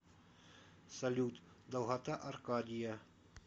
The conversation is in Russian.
салют долгота аркадия